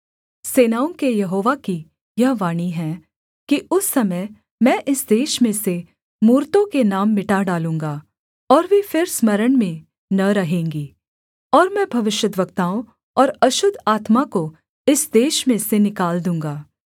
सेनाओं के यहोवा की यह वाणी है कि उस समय मैं इस देश में से मूर्तों के नाम मिटा डालूँगा और वे फिर स्मरण में न रहेंगी और मैं भविष्यद्वक्ताओं और अशुद्ध आत्मा को इस देश में से निकाल दूँगा